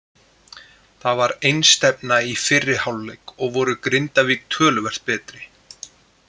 Það var einstefna í fyrri hálfleik og voru Grindavík töluvert betri.